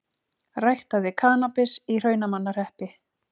Ræktaði kannabis í Hrunamannahreppi